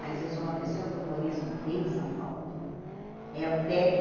Mas eu sou uma pessoa que eu conheço bem São Paulo, viu? É o pé